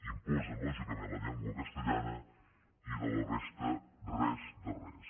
imposen lògicament la llengua castellana i de la resta res de res